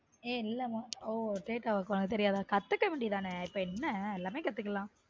ஏன் இல்லமா ஒ data work ஆ அது தெரியாத கத்துக்க வேண்டியது தான இப்ப என்ன எல்லாமே கத்துக்குலான்